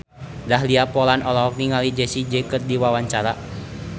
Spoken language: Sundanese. Dahlia Poland olohok ningali Jessie J keur diwawancara